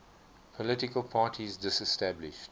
political parties disestablished